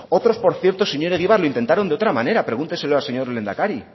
otros por cierto señor egibar lo intentaron de otra manera pregúnteselo al señor lehendakari